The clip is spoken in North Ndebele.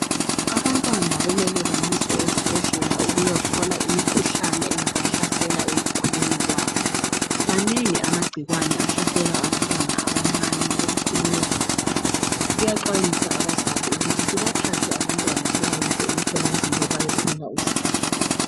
Abantwana kumele bayiswe ezibhedlela ukuya hlola imikhuhlane engabahlasela empilweni yabo, mane amagcikwane ahlasela abantwana abancane ekukhuleni kwabo kuya xwayiswa abazali ukuthi sibathathe abantwana sibayise emthola mpilo ukuze bayethola usizo.